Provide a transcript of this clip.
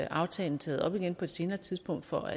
aftalen taget op igen på et senere tidspunkt for